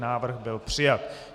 Návrh byl přijat.